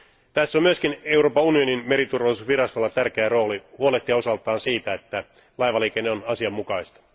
Tässä on myöskin Euroopan unionin meriturvallisuusvirastolla tärkeä rooli huolehtia osaltaan siitä, että laivaliikenne on asianmukaista.